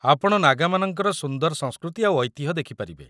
ଆପଣ ନାଗାମାନଙ୍କର ସୁନ୍ଦର ସଂସ୍କୃତି ଆଉ ଐତିହ୍ୟ ଦେଖିପାରିବେ ।